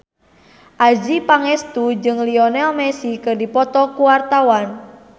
Adjie Pangestu jeung Lionel Messi keur dipoto ku wartawan